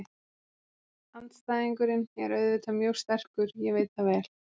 Andstæðingurinn er auðvitað mjög sterkur, ég veit það vel.